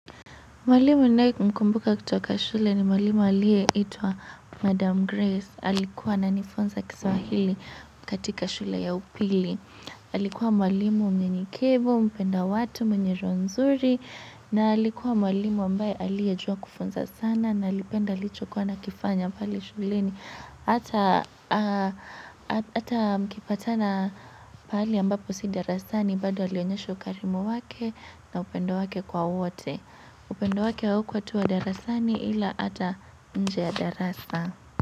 Mwalimu ninaye mkumbuka kutoka shule ni mwalimu aliyeitwa Madam Grace. Alikuwa ananifunza kiswahili katika shule ya upili. Alikuwa mwalimu mnyenyekevu, mpenda watu mwenye roho nzuri. Na alikuwa mwalimu ambaye aliyejua kufunza sana. Na alipenda licho kuwa anakifanya pale shuleni hata hata mkipatana pahali ambapo si darasani. Bado alionyesha ukarimu wake na upendo wake kwa wote. Upendo wake haukuwa tu wa darasani ila hata nje ya darasa.